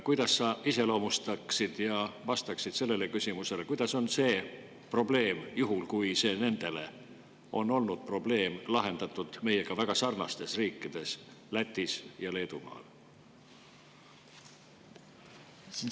Kuidas sa iseloomustaksid seda ja vastaksid sellele küsimusele, kuidas on see probleem – juhul, kui see on nende arvates olnud probleem – lahendatud meiega väga sarnastes riikides Lätis ja Leedumaal?